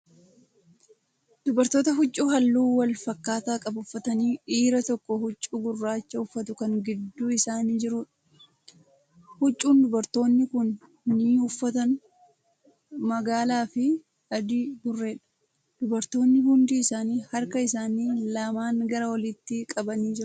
Dubartoota huccuu halluu walfakkaataa qabu uffataniifi dhiira tokko huccuu gurraacha uffatu Kan gidduu isaanii jiruudha. huccuunndubartoonni Kun ni uffatan magaalaafi adii burreedha. dubartoonni hundi isaanii harka isaanii lamaan gara oliitti qabanii jiru.